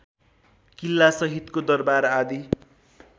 किल्लासहितको दरबार आदि